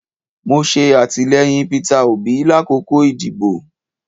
Mo ṣe atilẹyin Peter Obi lakoko idibo